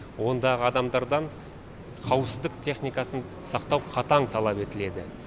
ондағы адамдардан қауіпсіздік техникасын сақтау қатаң талап етіледі